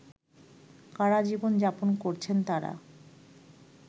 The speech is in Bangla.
কারাজীবন যাপন করছেন তারা